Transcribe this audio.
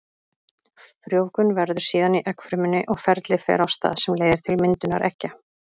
Frjóvgun verður síðan í eggfrumunni og ferli fer á stað sem leiðir til myndunar eggja.